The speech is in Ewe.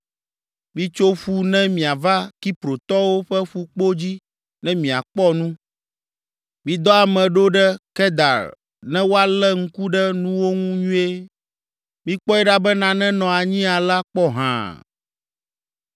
Mitso ƒu ne miava Kiprotɔwo ƒe fukpo dzi ne miakpɔ nu. Midɔ ame ɖo ɖe Kedar ne woalé ŋku ɖe nuwo ŋu nyuie. Mikpɔe ɖa be nane nɔ anyi alea kpɔ hã.